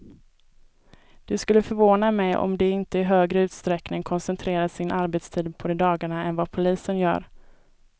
Det skulle förvåna mig om de inte i högre utsträckning koncentrerar sin arbetstid på de dagarna än vad polisen gör.